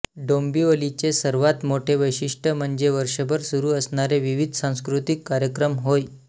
डोंबिवलीचे सर्वात मोठे वैशिष्ट्य म्हणजे वर्षभर सुरू असणारे विविध सांस्कृतिक कार्यक्रम होय